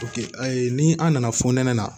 ayi ni an nana fɔ nɛnɛ la